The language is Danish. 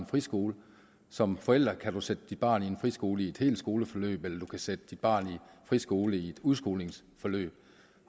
friskole som forældre kan man sætte sit barn i en friskole i et helt skoleforløb eller man kan sætte sit barn i en friskole i et udskolingsforløb